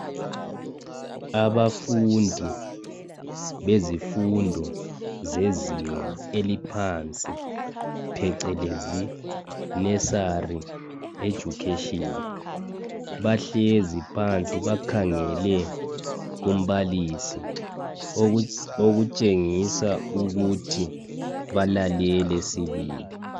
abafundo beszifundo zezinga eliphansi phecelezi nursary education bahlezi phansi bakhangele kumbalisi okutshengisa ukuthi balalele sibili